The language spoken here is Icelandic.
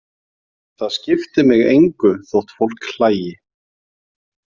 Það skipti mig engu þótt fólk hlægi.